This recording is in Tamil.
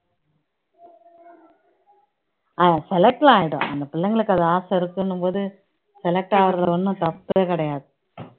ஆஹ் select எல்லாம் ஆயிடும் அந்த பிள்ளைங்களுக்கு அது ஆசை இருக்குன்னும்போது select ஆகறது ஒண்ணும் தப்பே கிடையாது